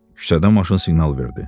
Küçədə maşın siqnal verdi.